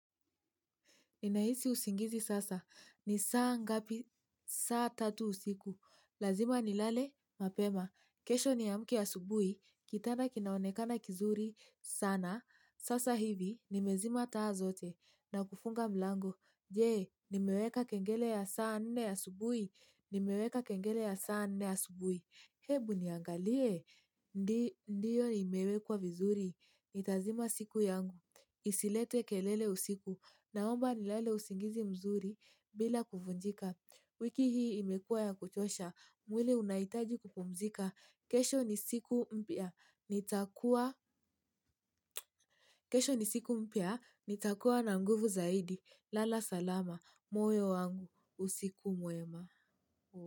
Ninahisi usingizi sasa. Ni saa ngapi? Saa tatu usiku. Lazima nilale? Mapema. Kesho niamke asubuhi. Kitanda kinaonekana kizuri sana. Sasa hivi nimezima taa zote. Na kufunga mlango. Je, nimeweka kengele ya saa nne asubuhi. Nimeweka kengele ya saa nne asubuhi. Hebu niangalie. Ndiyo imewekwa vizuri. Itazima siku yangu. Isilete kelele usiku. Naomba nilale usingizi mzuri bila kuvunjika. Wiki hii imekuwa ya kuchosha. Mwili unahitaji kupumzika. Kesho ni siku mpia. Nitakuwa na nguvu zaidi. Lala salama. Moyo wangu. Usiku mwema.